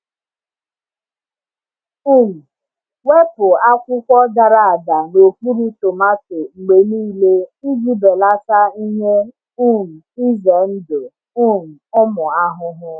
um Wepụ akwụkwọ dara ada n’okpuru tomato mgbe niile iji belata ihe um ize ndụ um ụmụ ahụhụ.